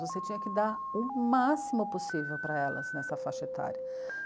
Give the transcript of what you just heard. Você tinha que dar o máximo possível para elas nessa faixa etária.